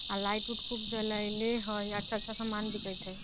आ light - उट खूब जलाईले है अच्छा-अच्छा सामान दिखईत है |